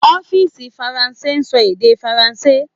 Orílèdè Faransé n so èdè faransé